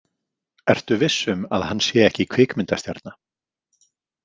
Ertu viss um að hann sé ekki kvikmyndastjarna?